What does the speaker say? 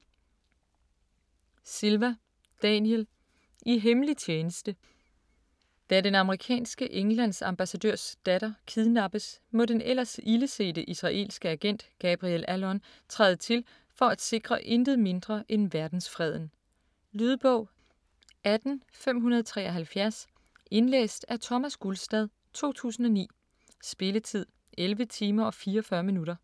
Silva, Daniel: I hemmelig tjeneste Da den amerikanske Englands-ambassadørs datter kidnappes må den ellers ildesete israelske agent Gabriel Allon træde til for at sikre intet mindre end verdensfreden. Lydbog 18573 Indlæst af Thomas Gulstad, 2009. Spilletid: 11 timer, 44 minutter.